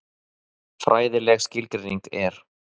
Fræðileg skilgreining er: